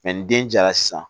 ni den jara sisan